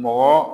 Mɔgɔ